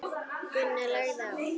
Gunnar lagði á.